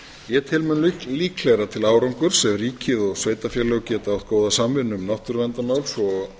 ég tel mun líklegra til árangurs af ríkið og sveitarfélög geta átt góða samvinnu um náttúruverndarmál svo og